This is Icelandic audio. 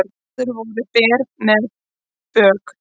Áður voru ber með bök